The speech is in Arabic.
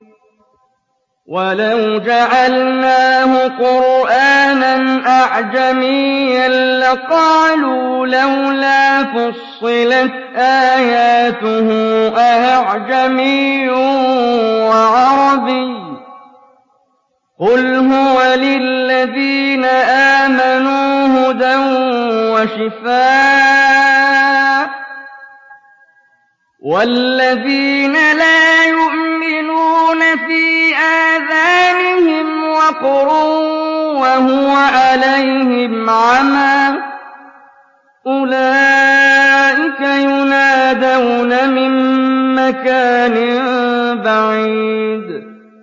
وَلَوْ جَعَلْنَاهُ قُرْآنًا أَعْجَمِيًّا لَّقَالُوا لَوْلَا فُصِّلَتْ آيَاتُهُ ۖ أَأَعْجَمِيٌّ وَعَرَبِيٌّ ۗ قُلْ هُوَ لِلَّذِينَ آمَنُوا هُدًى وَشِفَاءٌ ۖ وَالَّذِينَ لَا يُؤْمِنُونَ فِي آذَانِهِمْ وَقْرٌ وَهُوَ عَلَيْهِمْ عَمًى ۚ أُولَٰئِكَ يُنَادَوْنَ مِن مَّكَانٍ بَعِيدٍ